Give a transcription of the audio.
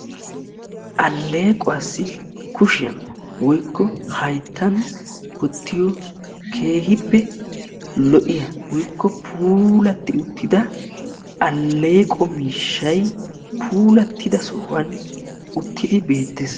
Allequwassi kushiyaan woykko hayttan wottiyo keehippe lo"iya woykko puulati uttida alleqqo miishshay puulattida sohuwan uttidi beettees.